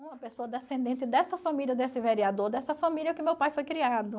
Uma pessoa descendente dessa família, desse vereador, dessa família que meu pai foi criado.